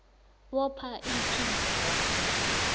bopha iinthimba zakho